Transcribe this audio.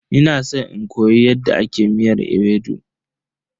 Ina san in koyi yadda ake miyar ewedu.